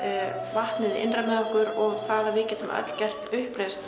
vatnið innra með okkur og að við getum öll gert uppreisn